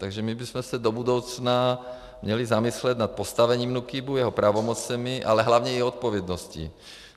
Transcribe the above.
Takže my bychom se do budoucna měli zamyslet nad postavením NÚKIBu, jeho pravomocemi, ale hlavně i odpovědností.